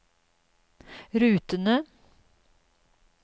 rutene